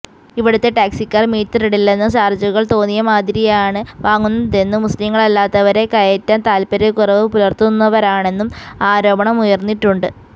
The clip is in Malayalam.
ഇവിടുത്തെ ടാക്സിക്കാർ മീറ്ററിടില്ലെന്നും ചാർജുകൾ തോന്നിയമാതിരിയാണ് വാങ്ങുന്നതെന്നും മുസ്ലീങ്ങളല്ലാത്തവരെ കയറ്റാൻ താൽപര്യക്കുറവ് പുലർത്തുന്നവരാണെന്നും ആരോപണമുയർന്നിട്ടുണ്ട്